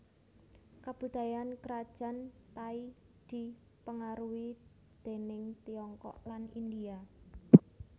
Kabudayan Krajan Thai dipengaruhi déning Tiongkok lan India